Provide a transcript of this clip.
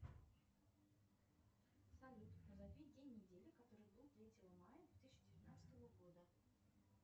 салют назови день недели который был третьего мая две тысячи девятнадцатого года